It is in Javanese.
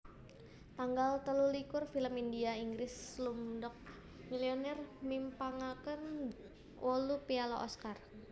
Tanggal telulikur Film India Inggris Slumdog Millionaire mimpangaken 8 piala Oscar